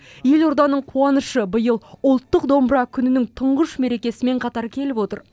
елорданың қуанышы биыл ұлттық домбыра күнінің тұңғыш мерекесімен қатар келіп отыр